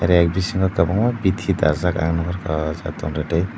rek bisingo kwbangma bithi dajak ang nuhorkha o jaga tongtwtwi.